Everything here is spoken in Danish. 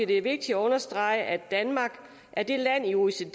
det er vigtigt at understrege at danmark er det land i oecd